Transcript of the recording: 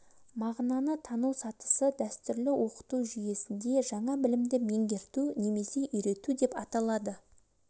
мағынаны тану сатысы дәстүрлі оқыту жүйесінде жаңа білімді меңгерту немесе үйрету деп аталады